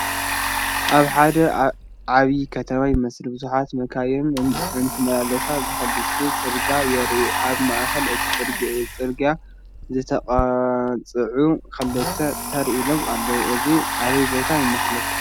ኣብ ሓደ ዓብይ ከተማ ይመስል ብዙሓት መካይን እንትመላለሳ ብክልቲኡ ፅርግያ የርኢ፡፡ ኣብ ማእኸል እቲ ፅርግያ ዝተቐፅዑ ተኽልታት ተር ኢሎም ኣለው፡፡ እዚ ኣበይ ቦታ ይመስል?